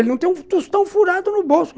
Ele não tem um tostão furado no bolso.